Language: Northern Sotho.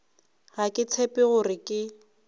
ga ke tshepe gore ke